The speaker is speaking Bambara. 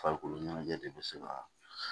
Farikolo ɲɛnajɛ de bɛ se ka